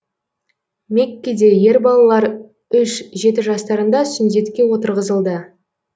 меккеде ер балалар үш жеті жастарында сүндетке отырғызылды